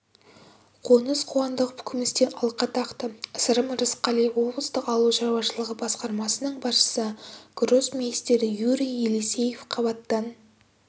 қоныс қуандықов күмістен алқа тақты сырым рысқалиев облыстық ауыл шаруашылығы басқармасының басшысы гроссмейстер юрий елисеев қабаттан